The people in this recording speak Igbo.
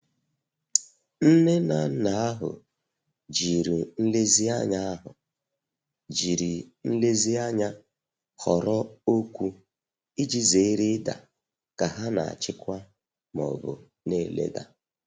Nne na nna ahụ jiri nlezianya ahụ jiri nlezianya họrọ okwụ iji zere ida ka ha na-achịkwa ma ọbụ na-eleda.